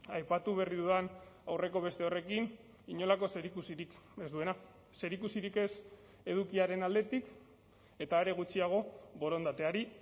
aipatu berri dudan aurreko beste horrekin inolako zerikusirik ez duena zerikusirik ez edukiaren aldetik eta are gutxiago borondateari